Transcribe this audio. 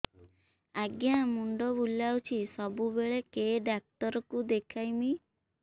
ଆଜ୍ଞା ମୁଣ୍ଡ ବୁଲାଉଛି ସବୁବେଳେ କେ ଡାକ୍ତର କୁ ଦେଖାମି